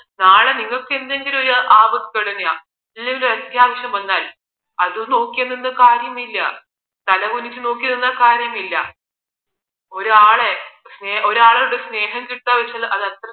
നാളെ നിങ്ങൾക്ക് എന്തെങ്കിലും ആപത്ത് തുടങ്ങിയാൽ ഇല്ലെലോരൂ അത്യാവശ്യം വന്നാൽ അതും നോക്കി നിന്നാൽ കാര്യമില്ല തലകുനിച്ച് നോക്കിനിന്നാൽ കാര്യമില്ല ഒരാളെ ഒരാളുടെ സ്നേഹം കിട്ടുക എന്ന് വച്ചാൽ